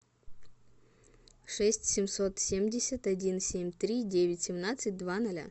шесть семьсот семьдесят один семь три девять семнадцать два ноля